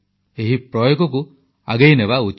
ଏହି ପ୍ରୟୋଗକୁ ଆଗେଇନେବା ଉଚିତ